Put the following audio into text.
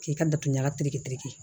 K'i ka datugu ɲaga tiri